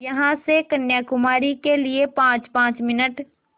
यहाँ से कन्याकुमारी के लिए पाँचपाँच मिनट